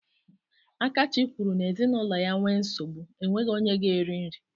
Akachi kwuru n'ezinụlọ ya nwee nsogbu, enweghị onye ga-eri nri.